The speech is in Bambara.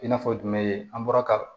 I n'a fɔ jumɛn an bɔra ka